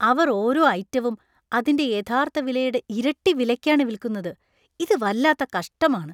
അവർ ഓരോ ഐറ്റവും അതിന്‍റെ യഥാർത്ഥ വിലയുടെ ഇരട്ടി വിലയ്ക്കാണ് വിൽക്കുന്നത് . ഇത് വല്ലാത്ത കഷ്ടമാണ് .